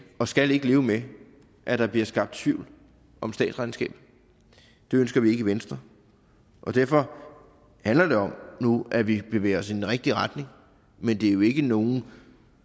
og skal ikke leve med at der bliver skabt tvivl om statsregnskabet det ønsker vi ikke i venstre derfor handler det om nu at vi bevæger os i den rigtige retning men det er jo ikke nogen